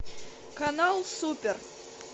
канал супер